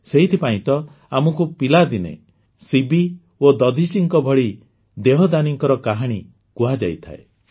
ସେଇଥିପାଇଁ ତ ଆମକୁ ପିଲାଦିନେ ଶିବି ଓ ଦଧିଚିଙ୍କ ଭଳି ଦେହଦାନୀଙ୍କ କାହାଣୀ କୁହାଯାଇଥାଏ